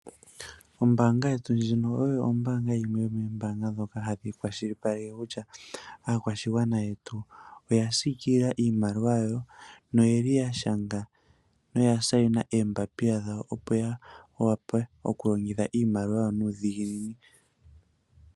Ombanga yetu ndjino oyo yimwe yomombaanga dhoka hadhi kwashilipaleke kutya aakwashigwana yetu oya siikilila iimaliwa yawo na oyeli ya shanga noya shaina oombapila dhawo, Opo ya vule oku longitha iimaliwa yawo nuudhiginini.